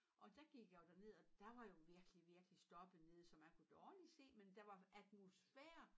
Og der gik jeg jo derned og der var jo virkelig virkelig stoppet ned så man kunne dårligt se men der var atmosfære